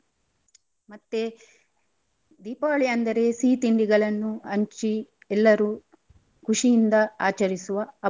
ಮತ್ತೆ ದೀಪಾವಳಿ ಅಂದರೆ ಸಿಹಿ ತಿಂಡಿಗಳನ್ನು ಹಂಚಿ ಎಲ್ಲರು ಖುಷಿಯಿಂದ ಆಚರಿಸುವ ಹಬ್ಬ.